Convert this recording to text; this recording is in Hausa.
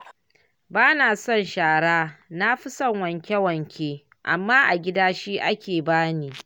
Bana son shara, nafi son wanke-wanke, amma a gida shi ake bani